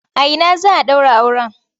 A ina za a ɗaura auren?